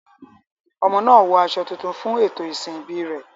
Ọmọ náà wọ aṣọ tuntun fún ètò ìsìn ìbí rẹ̀.